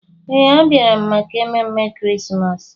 Ee, a bịara m maka ememe Krismas.